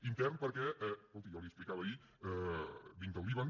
intern perquè escolti jo l’hi explicava ahir vinc del líban